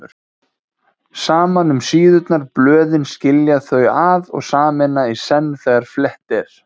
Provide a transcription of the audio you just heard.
Saman um síðurnar blöðin skilja þau að og sameina í senn þegar flett er